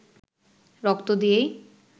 রক্ত দিয়েই